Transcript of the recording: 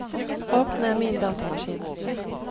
åpne Min datamaskin